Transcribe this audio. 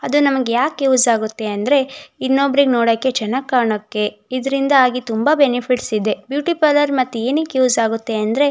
ಅದು ನಮಗೆ ಯಾಕೆ ಯೂಸ್ ಆಗುತ್ತೆ ಅಂದ್ರೆ ಇನ್ನೊಬ್ರಿಗೆ ನೋಡೋಕೆ ಚೆನ್ನಾಗ್ ಕಾಣೋಕೆ ಇದರಿಂದಾಗಿ ತುಂಬ ಬೆನಿಫಿಟ್ಸ್ ಇದೆ. ಬ್ಯೂಟಿ ಪಾರಲೌರ್ ಮತ್ತೆ ಏನಕ್ಕೆ ಯೂಸ್ ಆಗುತ್ತೆ ಅಂದ್ರೆ--